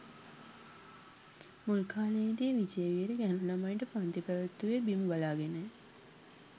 මුල් කාලයේදී විජේවීර ගැහැණු ළමයින්ට පන්ති පැවැත්වුයේ බිම බලාගෙනය.